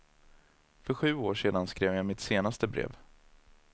För sju år sedan skrev jag mitt senaste brev.